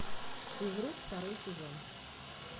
физрук второй сезон